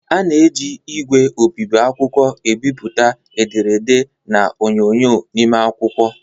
A na-eji ígwè obibi akwụkwọ ebipụta ederede na onyonyo n'ime akwụkwọ.